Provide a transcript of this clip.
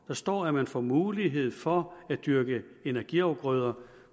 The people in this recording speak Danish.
der står at man får mulighed for at dyrke energiafgrøder